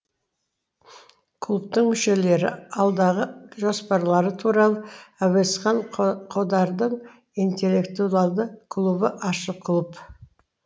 клубтың мүшелері алдағы жоспарлары туралы әуезхан қодардың интеллектуалды клубы ашық клуб